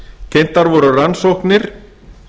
kynntar voru rannsóknir